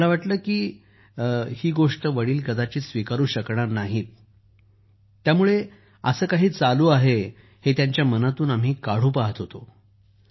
परंतु आम्हाला वाटलं की जी गोष्ट ते स्वीकारू शकणार नाहीत तेव्हा असं काही चालू आहे हे त्यांच्या मनातून आम्ही काढू पहात होतो